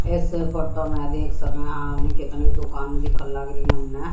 ऐसे फोटो में देख सके हम कितनी दुकान दिखन लाग रही हमने।